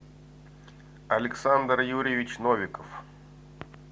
александр юрьевич новиков